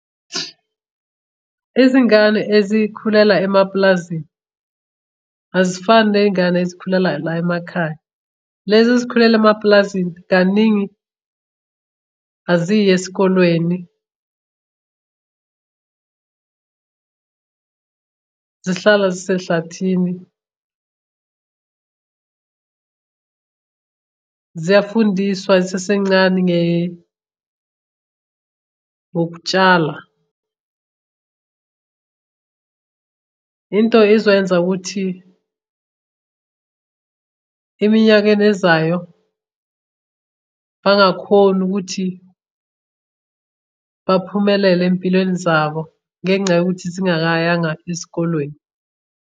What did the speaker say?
Izingane ezikhulela emapulazini azifani ney'ngane ezikhulela la emakhaya. Lezi ezikhulela emapulazini kaningi aziyi esikolweni, zihlala zisehlathini, ziyafundiswa zisasencane ngokutshala. Into ezokwenza ukuthi eminyakeni ezayo bangakhoni ukuthi baphumelele ey'mpilweni zabo ngenxa yokuthi zingakayanga esikolweni.